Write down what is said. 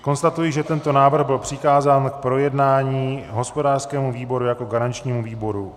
Konstatuji, že tento návrh byl přikázán k projednání hospodářskému výboru jako garančnímu výboru.